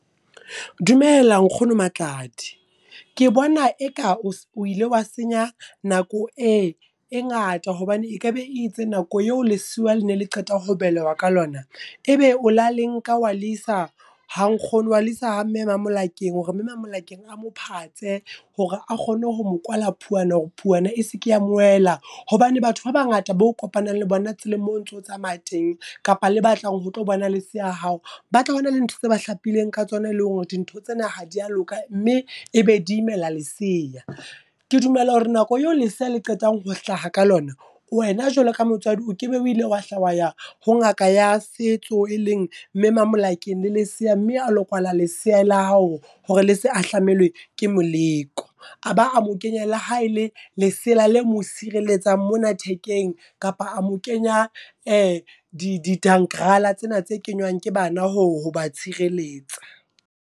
Dumela nkgono Matladi, ke bona eka o o ile wa senya nako e ngata hobane e ka be itse nako eo lesiuwa le ne le qeta ho belehwa ka lona. E be o la le nka wa le isa ha nkgono wa le isa ha mme Mamolakeng hore mme Mamolakeng a mo phatse, hore a kgone ho mo kwala phuwana hore phuwana e se ke ya mo wela. Hobane batho ba bangata bo kopanang le bona tseleng moo o ntso tsamaya teng kapa le ba tlang ho tlo bona leseya hao. Ba tla ho na le ntho tse ba hlapileng ka tsona e leng hore dintho tsena ha dia loka mme e be di imela leseya. Ke dumela hore nako eo lesea le qetang ho hlaha ka lona. Wena jwalo ka motswadi o ke be o ile wa hla wa ya ho ngaka ya setso, e leng mme Mamolakeng le lesea mme a lo kwala lesea la hao hore le se ahlamelwe ke moleko. A ba a mo kenye le ha e le lesela le mo sireletsang mona thekeng, kapa a mo kenya di tsena tse kenywang ke bana ho ho ba tshireletsa.